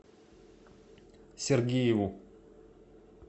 сергееву